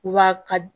U b'a ka